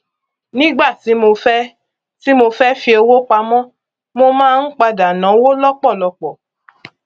nígbà tí mo fẹ tí mo fẹ fi owó pamọ mo máa ń padà náwó lọpọlọpọ